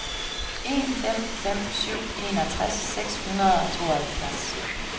en fem fem syv enogtres seks hundrede og tooghalvfjerds